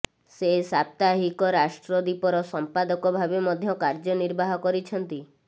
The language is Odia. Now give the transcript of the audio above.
ସେ ସାପ୍ତାହିକ ରାଷ୍ଟ୍ରଦୀପର ସମ୍ପାଦକ ଭାବେ ମଧ୍ୟ କାର୍ୟ୍ୟ ନିର୍ବାହ କରିଛନ୍ତି